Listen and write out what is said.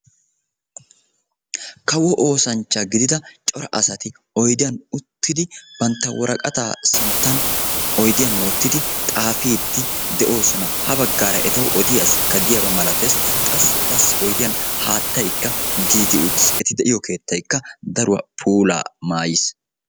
kawo oosancha gidida cora asati oydiyan utidi banta woraqataa sintan oydiyan wotidi ha bagaara qassi etawu odiya asi diyaba malatees. haattaykka oydiyan dees. keettaykka puulati utiis.